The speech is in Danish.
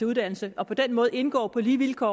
uddannelse og på den måde indgå på lige vilkår